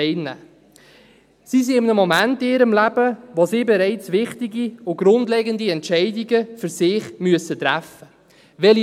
Sie sind in einem Moment ihres Lebens, wo sie bereits wichtige und grundlegende Entscheidungen für sich selbst treffen müssen: